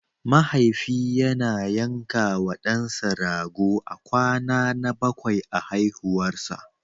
Mahaifi yana yankawa ɗansa rago a kwana na bakwai a haihuwarsa.